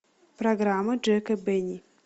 программа джека бенни